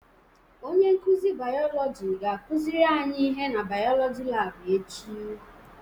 Onye nkuzi bayolọjị ga-akuziri anyi ihe na bayolọjị laabụ echi.